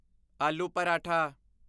aloo paratha